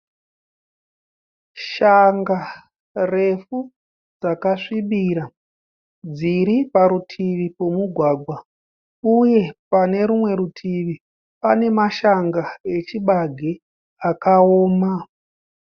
Shanga refu dzakasvibira dziriparutivi pomugwagwa. Uye pane rumwe rutivi pane mashanga echibage akaoma.